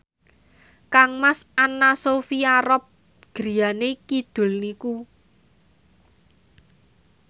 kangmas Anna Sophia Robb griyane kidul niku